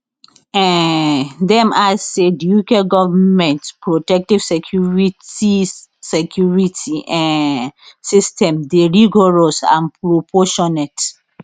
um dem add say di uk goment protective security security um system dey rigorous and proportionate